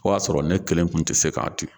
O y'a sɔrɔ ne kelen kun tɛ se k'a di.